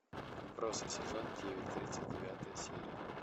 отбросы сезон девять тридцать девятая серия